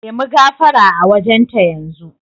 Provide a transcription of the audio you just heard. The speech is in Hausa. Nemi gafara a wajen ta yanzu.